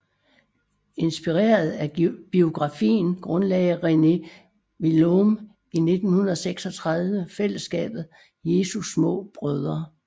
Inspireret af biografien grundlagde René Voillaume i 1936 fællesskabet Jesu Små Brødre